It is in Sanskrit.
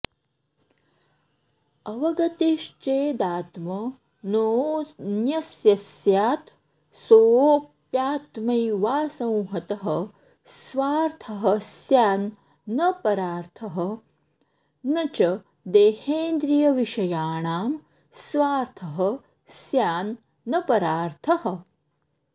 अवगतिश्चेदात्मनोऽन्यस्य स्यात् सोऽप्यात्मैवासंहतः स्वार्थः स्यान् न परार्थः न च देहेन्द्रियविषयाणां स्वार्थः स्यान् न परार्थः